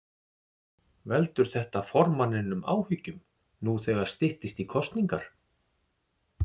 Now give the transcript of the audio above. Veldur þetta formanninum áhyggjum nú þegar styttist í kosningar?